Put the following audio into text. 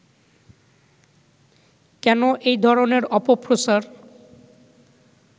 কেন এই ধরনের অপপ্রচার